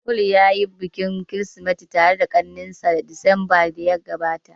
Paul ya yi bikin kirismeti tare da kakannin shi disamba da ya gabata